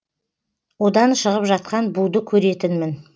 одан шығып жатқан буды көретінмін